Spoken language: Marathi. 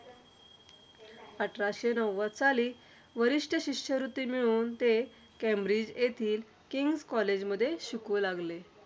अठराशे नव्वद साली, वरिष्ठ शिष्यवृत्ती मिळवून ते केंब्रिज येथील किंग्स कॉलेज मध्ये ते शिकू लागले.